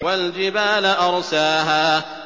وَالْجِبَالَ أَرْسَاهَا